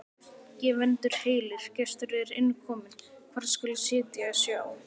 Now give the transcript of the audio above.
Gefendur heilir, gestur er inn kominn, hvar skal sitja sjá?